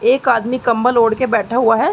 एक आदमी कमबल ओढ़ के बैठा हुआ है।